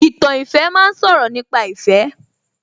Ìtàn ìfẹ́ ma ń sọ̀rọ̀ nípa ìfẹ́